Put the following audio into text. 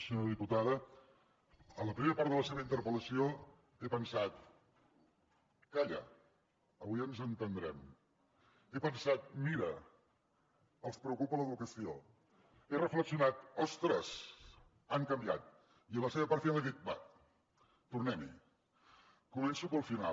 senyora diputada en la primera part de la seva interpel·lació he pensat calla avui ens entendrem he pensat mira els preocupa l’educació he reflexionat ostres han canviat i a la seva part final he dit bé tornem hi començo pel final